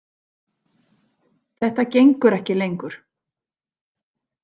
Þetta gengur ekki lengur.